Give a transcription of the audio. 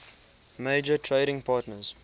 major trading partners